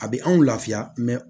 A bɛ anw lafiya